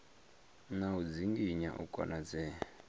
na u dzinginya u konadzea